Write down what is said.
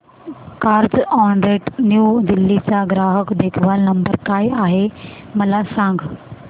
Carzonrent New Delhi चा ग्राहक देखभाल नंबर काय आहे मला सांग